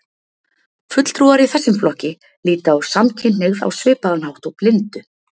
Fulltrúar í þessum flokki líta á samkynhneigð á svipaðan hátt og blindu.